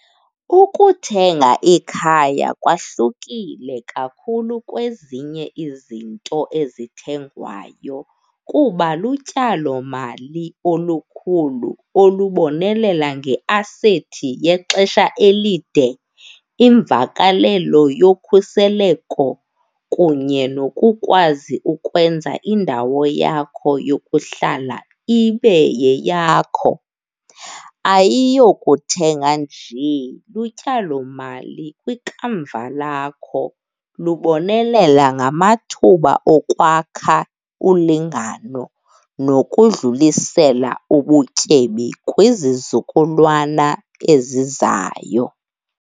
Ukuthenga ikhaya kwahlukile kakhulu kwezinye izinto ezithengwayo kuba lutyalomali olukhulu olubonelela ngeasethi yexesha elide, imvakalelo yokhuseleko kunye nokukwazi ukwenza indawo yakho yokuhlala ibe yeyakho. Ayiyokuthenga njee. Lutyalomali kwikamva lakho, lubonelela ngamathuba okwakha ulingano nokudlulisela ubutyebi kwizizukulwana ezizayo.